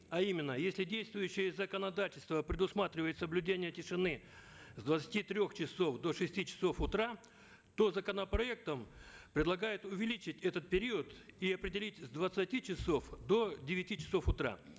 а именно если действующее законодательство предусматривает соблюдение тишины с двадцати трех часов до шести часов утра то законопроектом предлагают увеличить этот период и определить с двадцати часов до девяти часов утра